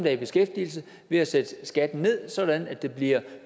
er i beskæftigelse ved at sætte skatten ned sådan at det bliver